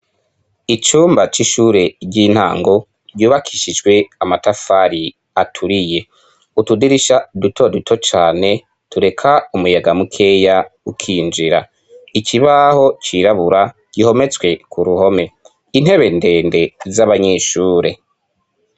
Icumba c'ishure ry'intango ryubakishijwe amatafari aturiye. Utudirisha duto duto cane tureka umuyaga mukeya ukinjira. Ikibaho cirabura gihometswe ku ruhome. Intebe ndende z'abanyeshure.